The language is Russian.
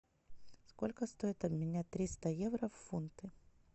сколько стоит обменять триста евро в фунты